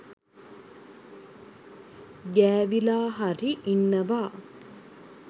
ගෑවිලා හරි ඉන්නවා.